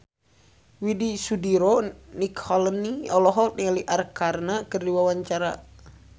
Widy Soediro Nichlany olohok ningali Arkarna keur diwawancara